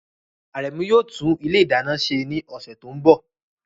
Aremu yóò tún ilé ìdáná ṣe ní ọ̀sẹ̀ tó ń bọ̀.